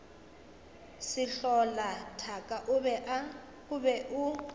sehlola thaka o be o